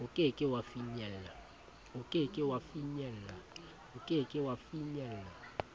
o ke ke wa finyella